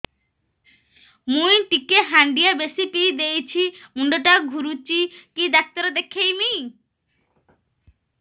ମୁଇ ଟିକେ ହାଣ୍ଡିଆ ବେଶି ପିଇ ଦେଇଛି ମୁଣ୍ଡ ଟା ଘୁରୁଚି କି ଡାକ୍ତର ଦେଖେଇମି